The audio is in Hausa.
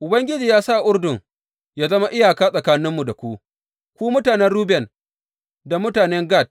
Ubangiji ya sa Urdun ya zama iyaka tsakaninmu da ku, ku mutanen Ruben da mutanen Gad!